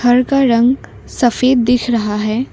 घर का रंग सफेद दिख रहा है।